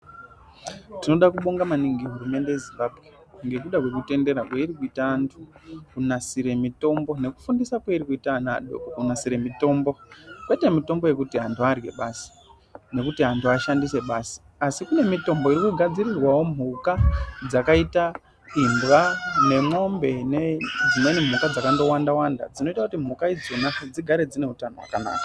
Tinoda kubonga maningi hurumende yeZimbabwe ngokuda kwekutendera kwairi kuita antu kunasire mitombo nekufundise kweiri kuita ana adoko kunasire mitombo kwete mitombo yekuti antu arye basi nokuti antu ashandise basi asi kune mitombo iri kugadzirirwawo mhuka dzakaita imbwa nemwombe nedzimweni mhuka dzakandowanda wanda dzinoita kuti mhuka idzona dzigare dzine utano.